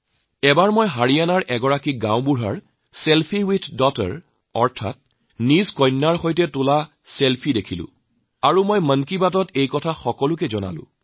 এবাৰ মই হাৰিয়ানাত এখন পঞ্চায়তৰ মুৰব্বীৰ ছেলফি উইথ ডটাৰ দেখি আৰু মই মন কী বাতত সেই সকলো কথা ব্যক্ত কৰিছিলোঁ